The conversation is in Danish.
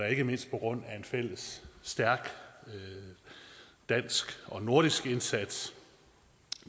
ikke mindst på grund af en fælles stærk dansk og nordisk indsats